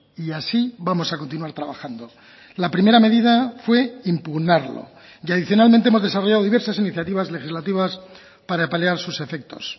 y así vamos a continuar trabajando la primera medida fue impugnarlo y adicionalmente hemos desarrollado diversas iniciativas legislativas para paliar sus efectos